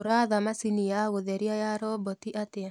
uraatha machĩnĩ ya gutherĩa ya robotĩ atĩa